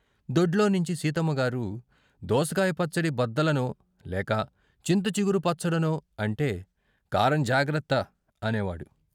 దొడ్లోనించి సీతమ్మగారు దోసకాయ పచ్చడి బద్దలనో లేక చింతచిగురు పచ్చడనో అంటే కారం జాగ్రత్త అనేవాడు.